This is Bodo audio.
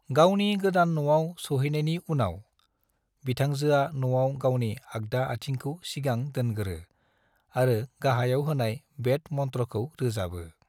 गावनि गोदान न'आव सहैनायनि उनाव, बिथांजोआ न'आव गावनि आगदा आथिंखौ सिगां दोनगोरो आरो गाहायाव होनाय वेद मन्त्र'खौ रोजाबो।